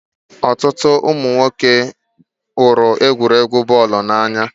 Ọtụtụ ụmụ nwoke hụrụ egwuregwu bọọlụ n'anya.